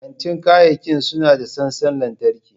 Kantin kayayyaki suna da sassan lantarki.